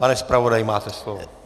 Pane zpravodaji, máte slovo.